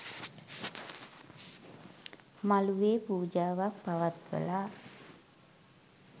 මළුවේ පූජාවක් පවත්වලා